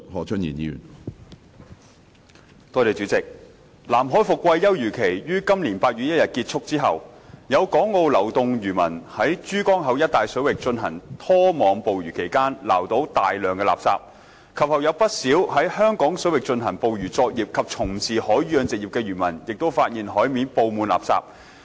主席，南海伏季休漁期於今年8月1日結束後，有港澳流動漁民在珠江口一帶水域進行拖網捕魚期間，撈到大量垃圾；及後有不少在香港水域進行捕魚作業及從事海魚養殖業的漁民發現海面佈滿垃圾。